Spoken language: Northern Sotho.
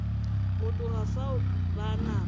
go tloga fao ba napa